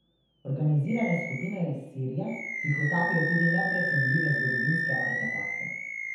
Organizirane skupine iz Sirije tihotapijo tudi neprecenljive zgodovinske artefakte.